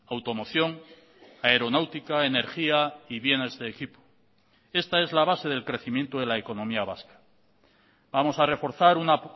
automoción aeronáutica energía y bienes de equipo esta es la base del crecimiento de la economía vasca vamos a reforzar una